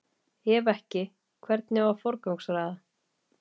Ef ekki, hvernig á að forgangsraða?